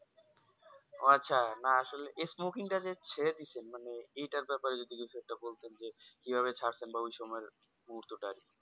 ও আচ্ছা না আসলে এই Smoking টা যে ছেড়ে দিছেন মানে এটার ব্যাপারে যদি কিছু একটা বলতেন যে কিভাবে ছাড়ছেন বা ওই সময়ের মুহূর্তটা আরকি